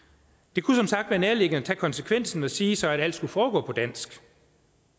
det kunne som sagt være nærliggende tage konsekvensen og sige at alt skulle foregå på dansk